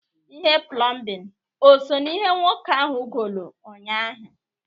Ihe plọmbịn o so n'ihe nwoke ahụ goolu nnyaa ahụ?